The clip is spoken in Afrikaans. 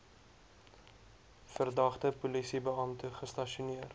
verdagte polisiebeampte gestasioneer